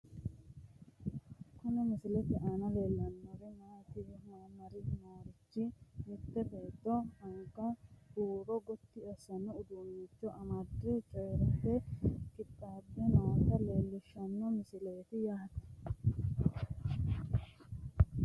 Kuni misilete aana leellanni noorichi mitte beeto angase huuro gotti assanno uduunnicho amadde coyiirate qixxaabbe noota leellishshanno misileeti yaate tini.